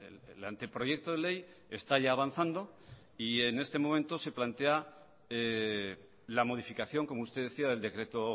el anteproyecto de ley está ya avanzando y en este momento se plantea la modificación como usted decía del decreto